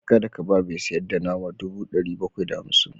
Kada ka ba mai sayar da nama dubu ɗari bakwai da hamsin da biyar